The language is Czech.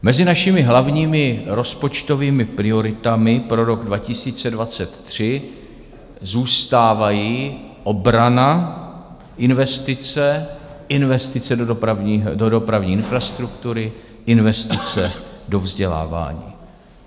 Mezi našimi hlavními rozpočtovými prioritami pro rok 2023 zůstávají obrana, investice, investice do dopravní infrastruktury, investice do vzdělávání.